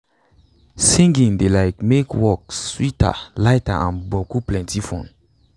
singing de like make work sweeter lighter and boku plenti fun.